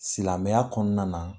Silamɛya kɔnɔna na